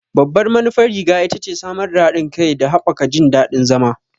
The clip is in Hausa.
Babban manufar riga ita ce samar da haɗin kai da haɓaka jin daɗin zama.